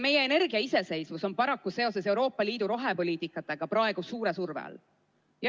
Meie energiaiseseisvus on paraku seoses Euroopa Liidu rohepoliitikaga praegu suure surve all.